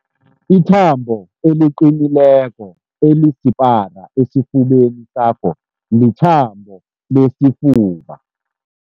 Ithambo eliqinileko elisipara esifubeni sakho lithambo lesifuba.